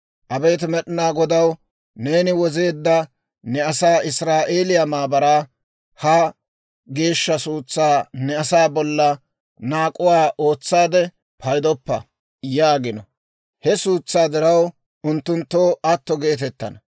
Abeet Med'inaa Godaw, neeni wozeedda ne asaa, Israa'eeliyaa maara; ha geeshsha suutsaa ne asaa bolla naak'uwaa ootsaade paydoppa yaagino›. He suutsaa diraw, unttunttoo atto geetettana.